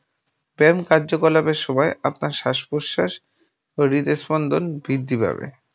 ব্যায়াম কার্যকলাপের সময় আপনার শ্বাসপ্রশ্বাস ও হৃদ স্পন্দন বৃদ্ধি পাবে।